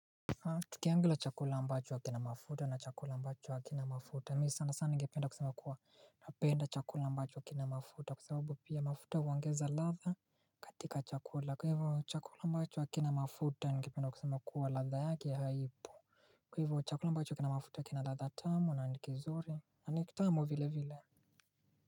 Tukiangalia chakula ambacho kina mafuta na chakula ambacho hakina mafuta mimi sana sana ningependa kusema kuwa napenda chakula ambacho kina mafuta kwa sababu pia mafuta huongeza ladha katika chakula kwa hivyo chakula ambacho hakina mafuta ningependa kusema kuwa ladha yake haipo Kwa hivyo chakula ambacho kina mafuta kina ladha tamu na ni kizuri na nikitamu vile vile.